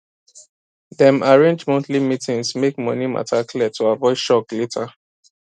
dem arrange monthly meetings make money matter clear to avoid shock later